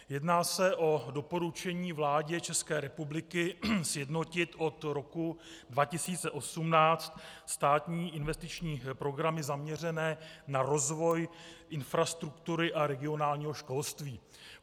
Jedná se o doporučení vládě České republiky sjednotit od roku 2018 státní investiční programy zaměřené na rozvoj infrastruktury a regionálního školství.